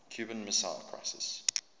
cuban missile crisis